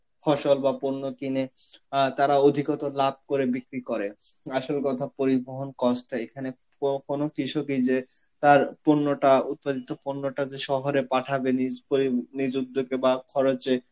ফসল বা পণ্য কিনে আ তারা অধিকত লাভ করে বিক্রি করে, আসল কথা পরিবহন cost টা এখানে ক~ কোনো কৃষকই যে তার পূর্ণতা~ উৎপাদিত পূর্ণটা যে শহরে পাঠাবে নিজ পরি~ নিজ উদ্যোগে বা খরচে,